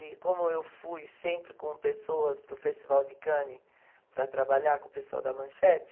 E como eu fui sempre com pessoas para o Festival de Cannes para trabalhar com o pessoal da Manchete,